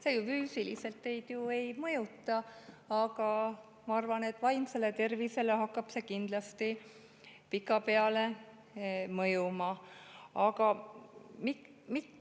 See teid füüsiliselt ju ei mõjuta, aga ma arvan, et vaimsele tervisele hakkab see kindlasti pikapeale mõjuma.